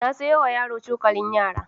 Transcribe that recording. Na sayowa yaro cokalin yara